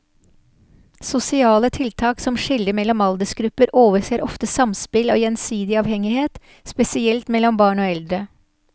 Sosiale tiltak som skiller mellom aldersgrupper overser ofte samspill og gjensidig avhengighet, spesielt mellom barn og eldre.